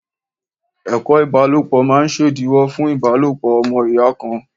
Ẹ̀kọ́ ìbálòpọ̀ máa ṣèdíwọ́ fún ìbálòpọ̀ ọmọ ìyá kan.